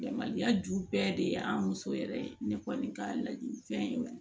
Da maloya ju bɛɛ de y'an muso yɛrɛ ye ne kɔni ka laɲini fɛn ye